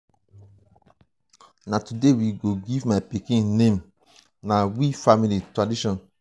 na today we go give my pikin name na we family tradition.